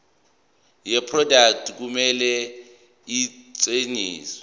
yeproduct kumele isetshenziswe